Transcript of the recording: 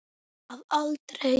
Að aldrei.